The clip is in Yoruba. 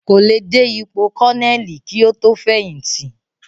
Kò le dé ipò kọ́nẹ̀lì kí ó tó fẹ̀yìntì